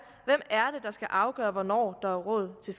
skal afgøre hvornår der er råd til